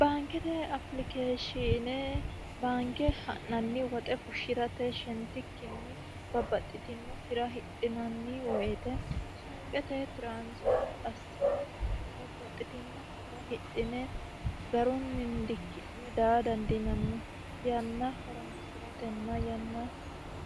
baankete apilikeeshine baanke ha'nanni woxe fushshi'rate shentikkinni babbaxxitino hira hidhinanni woyite suuqete transifere assine babbaxxitino hira hidine garu nindikki'ne daa dandinanni yanna horonsi'ratenna yanna